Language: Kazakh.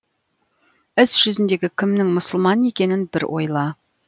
іс жүзінде кімнің мұсылман екенін бір ойла